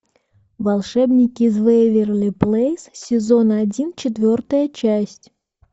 волшебники из вэйверли плэйс сезон один четвертая часть